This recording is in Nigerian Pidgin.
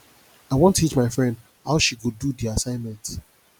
i wan teach my friend how she go do di assignment